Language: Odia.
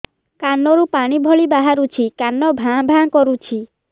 କାନ ରୁ ପାଣି ଭଳି ବାହାରୁଛି କାନ ଭାଁ ଭାଁ କରୁଛି